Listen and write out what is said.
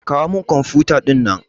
Kawo min kwamfuta ɗinnan.